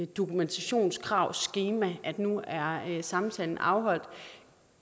dokumentationskravskema at nu er er samtalen afholdt